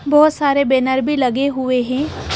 बहोत सारे बैनर भी लगे हुए हैं।